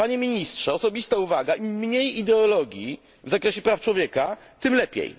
Panie ministrze, osobista uwaga im mniej ideologii w zakresie praw człowieka, tym lepiej.